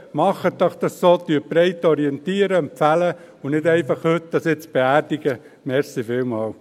Machen Sie es doch so, orientieren und empfehlen Sie breit und beerdigen Sie dies nun heute nicht einfach.